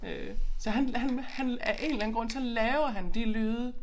Øh så han han han af en eller anden grund så laver han de lyde